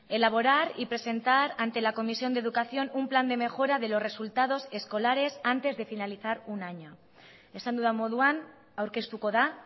elaborar y presentar ante la comisión de educación un plan de mejora de los resultados escolares antes de finalizar un año esan dudan moduan aurkeztuko da